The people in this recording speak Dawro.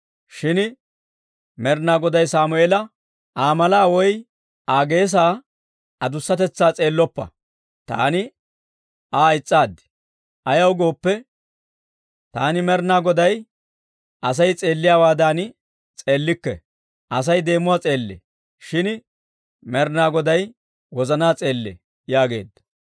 Shin Med'inaa Goday Sammeela, «Aa malaa woy Aa geesaa adussatetsaa s'eelloppa; taani Aa is's'aad. Ayaw gooppe, taani Med'inaa Goday Asay s'eelliyaawaadan s'eellikke; Asay deemuwaa s'eellee; shin Med'inaa Goday wozanaa s'eellee» yaageedda.